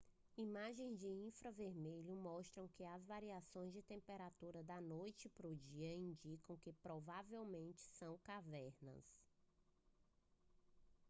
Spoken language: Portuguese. imagens de infravermelho mostram que as variações de temperatura da noite pro dia indicam que provavelmente são cavernas